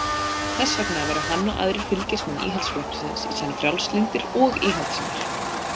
Þess vegna væru hann og aðrir fylgismenn Íhaldsflokksins í senn frjálslyndir og íhaldssamir.